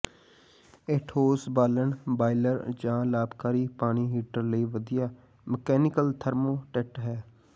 ਇਹ ਠੋਸ ਬਾਲਣ ਬਾਇਲਰ ਜ ਲਾਭਕਾਰੀ ਪਾਣੀ ਹੀਟਰ ਲਈ ਵਧੀਆ ਮਕੈਨੀਕਲ ਥਰਮੋਸਟੇਟ ਹੈ